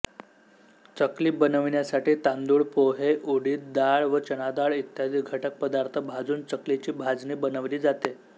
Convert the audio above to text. चकली बनविण्यासाठी तांदूळ पोहे उडीद डाळ व चणाडाळ इत्यादी घटकपदार्थ भाजून चकलीची भाजणी बनवली जाते